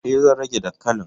E, zan rage dankalin.